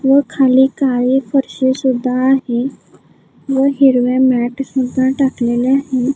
व खाली काळी फरशी सुद्धा आहे व हिरव्या मॅट सुद्धा टाकलेल्या आहेत.